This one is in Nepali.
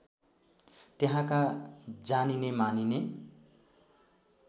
त्यहाँका जानिने मानिने